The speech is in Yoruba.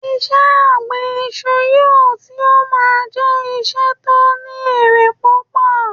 iṣẹ ọgbin Isu yíò tí o ma je iṣẹ tio ni ere pupo